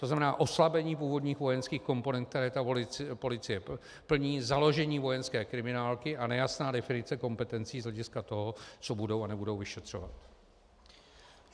To znamená, oslabení původních vojenských komponent, které ta policie plní, založení vojenské kriminálky a nejasná definice kompetencí z hlediska toho, co budou a nebudou vyšetřovat.